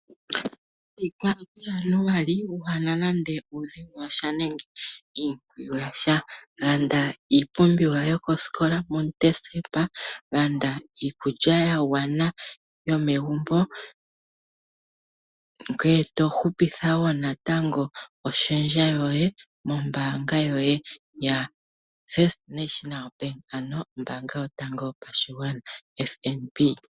Thika kuJanuali ku na nando uudhigu nenge iimpwiyu ya sha. Landa iipumbiwa yokosikola muDecemba, land iikulya yomegumbo ya gwana, ngoye to hupitha wo oshendja ya gwana nombaanga yoye yotango yopashigwana, ano FNB.